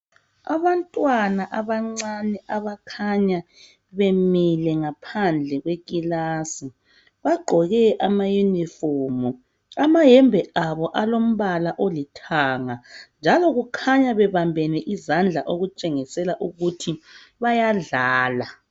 Abantwana abancane abakhanya bemile ngaphandle ke khilasi bagqoke ama uniform amayembe abo alombala olithanga njalo kukhanya bebambene izandla okutshengisela ukuthi bayadlala.